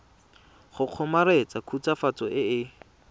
go kgomaretsa khutswafatso e e